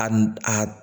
A n a